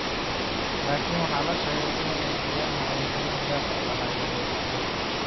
Laakiin waxaa la sheegay in Gianna ay xiriir gaar ah la lahayd aabaheed.